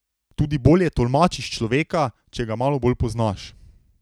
Tudi bolje tolmačiš človeka, če ga malo bolj poznaš.